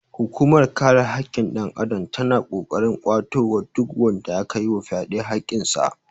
Hukunmar kare hakkin ɗan adam ta na ƙoƙarin kwato wa duk wanda aka yi wa fyaɗe hakkin sa